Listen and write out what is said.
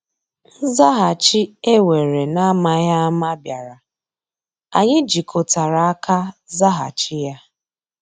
Nzàghàchì e weere n’amaghị ama bịàrà, anyị jikọtara aka zàghàchì ya.